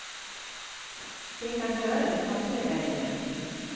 De kan høre det kakle der inne.